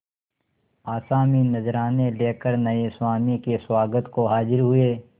आसामी नजराने लेकर नये स्वामी के स्वागत को हाजिर हुए